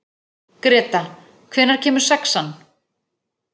Greta, hvenær kemur sexan?